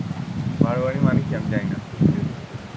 বাড়োয়ারি মানে কি আমি জানি না। এটাই তো বলছি।